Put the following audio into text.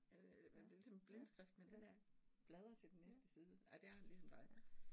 Øh det ligesom blindskrift, men den der bladre til den næste side, ej der har jeg det ligesom dig